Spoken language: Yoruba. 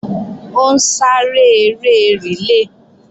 Ó ń sáré eré rìlé